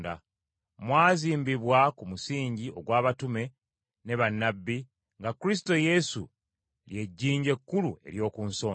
Mwazimbibwa ku musingi ogw’abatume ne bannabbi, nga Kristo Yesu ly’ejjinja ekkulu ery’oku nsonda.